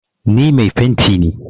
Ni mai fenti ne.